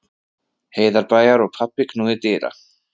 Heiðarbæjar og pabbi knúði dyra.